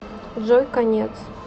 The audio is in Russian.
джой конец